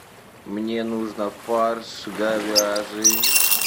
мне нужно фарш говяжий